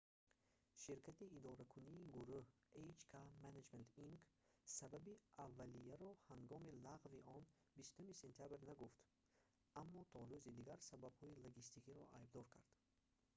ширкати идоракунии гурӯҳ hk management inc сабаби аввалияро ҳангоми лағви он 20 сентябр нагуфт аммо то рӯзи дигар сабабҳои логистикиро айбдор кард